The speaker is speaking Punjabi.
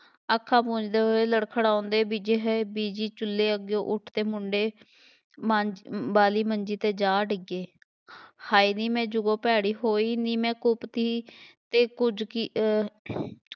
ਅੱਖਾਂ ਪੂੰਝਦੇ ਹੋਏ, ਲੜਖੜਾਉਂਦੇ ਹੋਏ ਬੀਜੀ ਚੁੱਲ੍ਹੇ ਅੱਗਿਓਂ ਉੱਠ ਕੇ ਮੁੰਡੇ ਮ~ ਅਹ ਵਾਲੀ ਮੰਜੀ 'ਤੇ ਜਾ ਡਿੱਗੇ, ਹਾਏ ਨੀਂ ਮੈਂ ਜੋ ਭੈੜੀ ਹੋਈ ਨੀ, ਮੈਂ ਕੁਪੱਤੀ ਅਤੇ ਕੁੱਝ ਕੀ ਅਹ